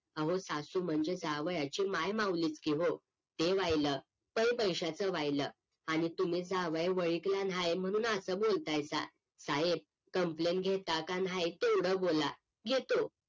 अहो सासू म्हणजे जावयाची माय माउलीच की हो ते वाहील तरी पैस्याच वाहील आणि तुम्ही जावई वळ्खला नाही म्हणून असं बोलताय का साहेब Complain घेता का नाही तेवढ बोला घेतो